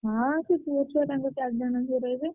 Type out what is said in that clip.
ହଁ ସେ ପୁଅ ଛୁଆ ତାଙ୍କ ଚାରିଜଣ ରହିବେ।